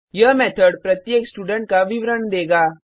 यह मेथड प्रत्येक स्टूडेंट का विवरण देगा